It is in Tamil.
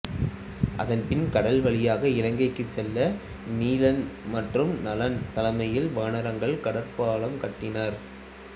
அதன் பின் கடல் வழியாக இலங்கைச் செல்ல நீலன் மற்றும் நளன் தலைமையில் வானரர்கள் கடற்பாலம் கட்டினர்